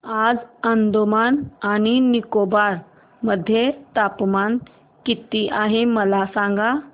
आज अंदमान आणि निकोबार मध्ये तापमान किती आहे मला सांगा